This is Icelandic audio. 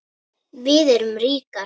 Við erum ríkar